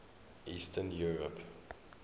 eastern europe